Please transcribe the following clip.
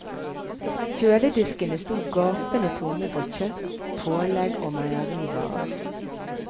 Kjølediskene sto gapende tomme for kjøtt, pålegg og meierivarer.